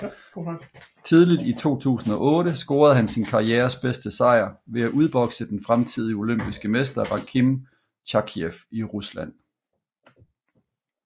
Tidligt i 2008 scorede han sin karrieres bedste sejr ved at udbokse den fremtidige olympiske mester Rakhim Chakhiyev i Rusland